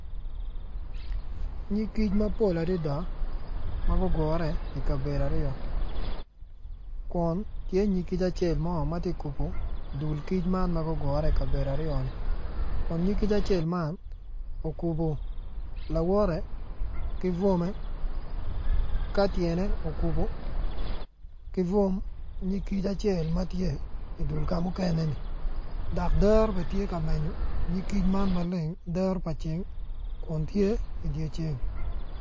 Nyig kic mapol adada ma gugure i kabedo aryo kun tye nyig kic acel ma tye ka kubo dul kic man ma gugure i kabedo aryo ni kun nyig kic acel man okubo lawote ki bwome ka tyene okubo ki bwom nyig kic acel ma tye i dul ka mukene dok dero bene tye ka menyo nyig kic man maleng dero pa ceng kun tye i dye ceng.